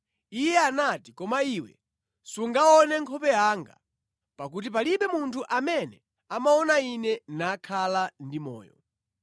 Iye anati, “Koma iwe sungaone nkhope yanga, pakuti palibe munthu amene amaona Ine nakhala ndi moyo.”